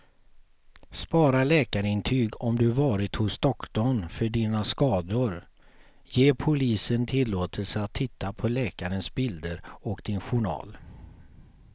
Spara läkarintyg om du varit hos doktorn för dina skador, ge polisen tillåtelse att titta på läkarens bilder och din journal.